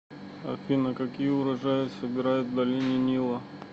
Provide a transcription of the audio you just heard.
афина какие урожаи собирают в долине нила